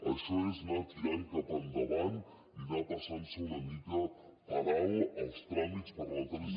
això anar tirant cap endavant i anar passant se una mica per alt els tràmits parlamentaris